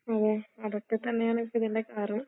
അതെ അതൊക്കെത്തന്നെയാണ് ഇപ്പിതിന്റെ കാരണം.